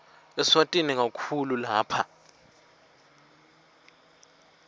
eswatini kakhulu lapha